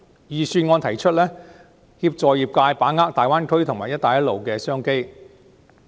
預算案倡議協助業界把握大灣區及"一帶一路"的商機。